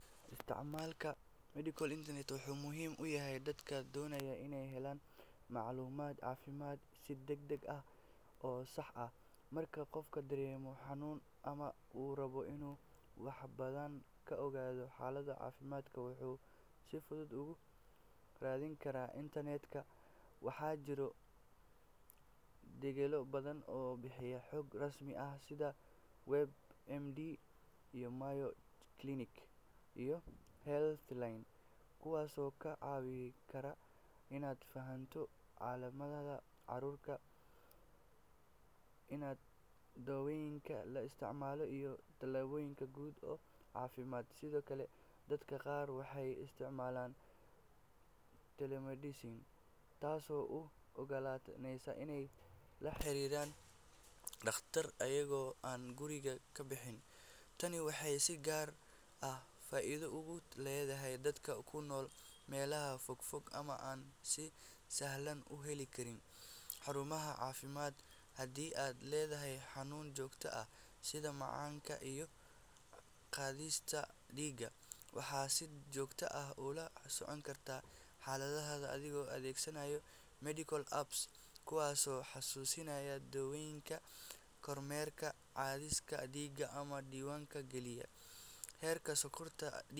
Isticmaalka medical internet wuxuu muhiim u yahay dadka doonaya inay helaan macluumaad caafimaad si degdeg ah oo sax ah. Marka qofku dareemo xanuun ama uu rabo inuu wax badan ka ogaado xaalad caafimaad, wuxuu si fudud uga raadin karaa internet-ka. Waxaa jira degello badan oo bixiya xog rasmi ah sida WebMD, Mayo Clinic, iyo Healthline, kuwaasoo kaa caawin kara inaad fahanto calaamadaha cudurka, daawooyinka la isticmaalo, iyo talooyin guud oo caafimaad. Sidoo kale, dadka qaar waxay isticmaalaan telemedicine, taasoo u oggolaanaysa inay la xiriiraan dhakhaatiir iyagoo aan guriga ka bixin. Tani waxay si gaar ah faa’iido ugu leedahay dadka ku nool meelaha fogfog ama aan si sahlan u heli karin xarumaha caafimaadka. Haddii aad leedahay xanuun joogto ah sida macaanka ama cadaadiska dhiigga, waxaad si joogto ah ula socon kartaa xaaladdaada adigoo adeegsanaya medical apps kuwaasoo xasuusinaya daawooyinka, kormeera cadaadiska dhiigga, ama diiwaan geliya heerka sonkorta.